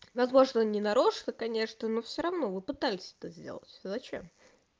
возможно не нарочно конечно но всё равно вы пытались это сделать зачем